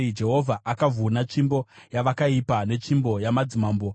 Jehovha akavhuna tsvimbo yavakaipa netsvimbo yamadzimambo,